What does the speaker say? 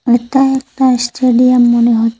এটা একটা স্টেডিয়াম মনে হচ্ছে।